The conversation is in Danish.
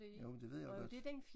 Jo men det ved jeg godt